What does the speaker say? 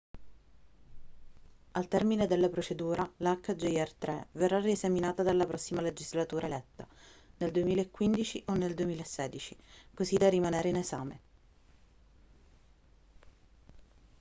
al termine della procedura la hjr 3 verrà riesaminata dalla prossima legislatura eletta nel 2015 o nel 2016 così da rimanere in esame